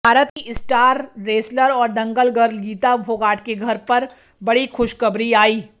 भारत की star wrestler और Dangal girl Geeta Phogat के घर पर बड़ी खुशखबरी आई